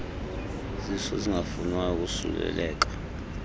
zisu zingafunwayo ukosuleleka